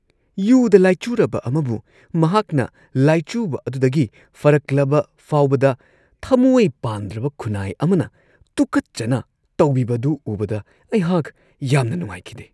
ꯌꯨꯗ ꯂꯥꯢꯆꯨꯔꯕ ꯑꯃꯕꯨ ꯃꯍꯥꯛꯅ ꯂꯥꯢꯆꯨꯕ ꯑꯗꯨꯗꯒꯤ ꯐꯔꯛꯂꯕ ꯐꯥꯎꯕꯗ ꯊꯃꯣꯢ ꯄꯥꯟꯗ꯭ꯔꯕ ꯈꯨꯟꯅꯥꯢ ꯑꯃꯅ ꯇꯨꯀꯠꯆꯅ ꯇꯧꯕꯤꯕꯗꯨ ꯎꯕꯗ ꯑꯩꯍꯥꯛ ꯌꯥꯝꯅ ꯅꯨꯡꯉꯥꯢꯈꯤꯗꯦ꯫